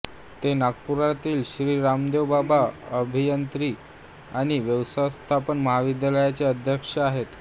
ते नागपुरातील श्री रामदेवबाबा अभियांत्रिकी आणि व्यवस्थापन महाविद्यालयाचे अध्यक्ष आहेत